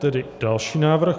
Tedy další návrh.